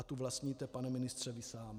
A tu vlastníte, pane ministře, vy sám.